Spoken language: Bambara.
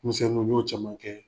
Musɛnnuw, n y'o caman kɛ.